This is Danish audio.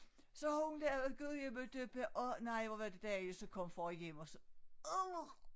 Så hun lavede gudjimmadøppa og nej hvor var det dejlig så kom far hjem og så adr